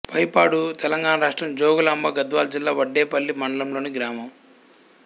పైపాడు తెలంగాణ రాష్ట్రం జోగులాంబ గద్వాల జిల్లా వడ్డేపల్లి మండలంలోని గ్రామం